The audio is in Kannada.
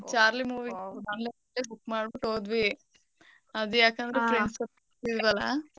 Charlie movie online ಲೇ book ಮಾಡ್ಬಿಟ್ ಹೋದ್ವಿ. ಯಾಕಂದ್ರೆ friends ಒಪ್ಲಿಲ್ವಲ.